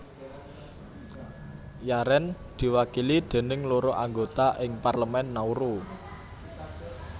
Yaren diwakili déning loro anggota ing Parlemen Nauru